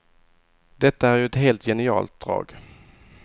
Detta är ju ett helt genialt drag.